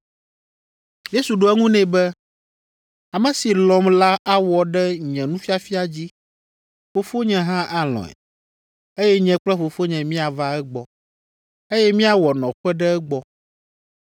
Yesu ɖo eŋu nɛ be, “Ame si lɔ̃m la awɔ ɖe nye nufiafia dzi. Fofonye hã alɔ̃e, eye nye kple Fofonye míava egbɔ, eye míawɔ nɔƒe ɖe egbɔ.